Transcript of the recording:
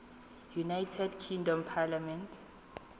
united kingdom parliament